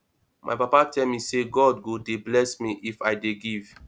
my papa tell me say god go dey bless me if i dey give